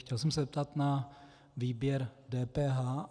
Chtěl jsem se zeptat na výběr DPH.